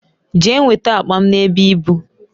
Jee nweta akpa m n'ebe ibu